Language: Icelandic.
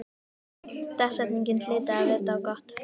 Dagsetningin hlyti að vita á gott.